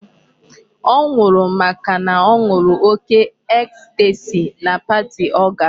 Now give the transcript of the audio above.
Ọ nwụrụ màkà na ọ ṅụrụ oke ecstasy na party ọ gara.